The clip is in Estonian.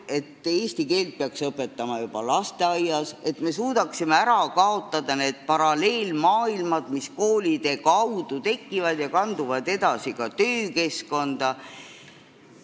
Näiteks, eesti keelt peaks õpetama juba lasteaias, et me suudaksime ära kaotada need paralleelmaailmad, mis tekivad koolide kaudu ja kanduvad edasi ka töökeskkonda.